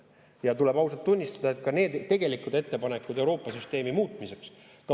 Ja tuleb ausalt tunnistada, et ka neid tegelikke ettepanekuid Euroopa süsteemi muutmiseks.